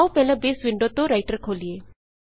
ਆਉ ਪਹਿਲਾਂ base window ਤੋਂ ਰਾਈਟਰ ਖੋਲੀਏ